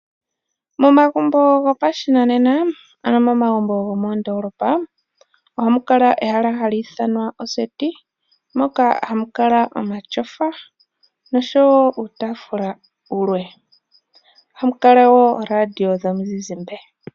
Momagumbo gopashinanena ano momagumbo gomoondolopa oha mu kala ehala hali ithanwa oseti moka hamu kala omatyofa noshowo uutafula wulwe oha mu kala wo ooradio dhomizizimbe.